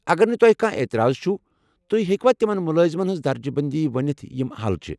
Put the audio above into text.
اگر نہٕ تۄہہِ کانٛہہ اعتِراض چُھ تُہۍ ہیٚکوا تِمَن مُلٲذِمن ہنز درجہ بندی ونِتھ یِم اہل چھِ؟